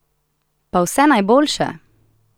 Pa vse najboljše!